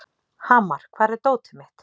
Hamar, hvar er dótið mitt?